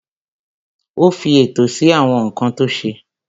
Ó fi ètò sí àwọn nǹkan tó ṣe.